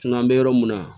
Kuma an bɛ yɔrɔ min na